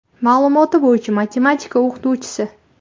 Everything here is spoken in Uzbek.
Ma’lumoti bo‘yicha matematika o‘qituvchisi.